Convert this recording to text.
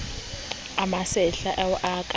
a masehla ao e ka